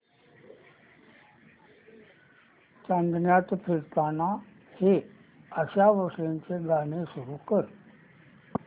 चांदण्यात फिरताना हे आशा भोसलेंचे गाणे सुरू कर